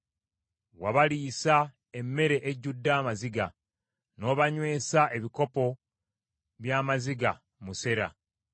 Wabaliisa emmere ejjudde amaziga; n’obanywesa ebikopo by’amaziga musera.